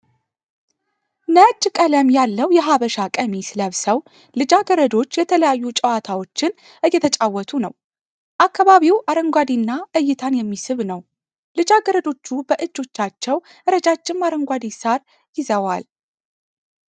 ነጭ ቀለም ያለው የሀበሻ ቀሚስ ለብሰው ልጃገረዶች የተለያዩ ጨዋታዎችን እየተጫወቱ ነው። አካባቢ አረንጓዴ እና እይታን የሚስብ ነው። ልጃገረዶች በእጃቸው ረጃጀም አረንጓዴ ሳር ይዘዋል።